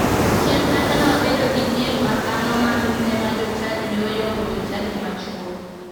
Chien kacha ne wabedo gi piem makano mi mine ma jochadi ne oyombo jochadi ma chuo.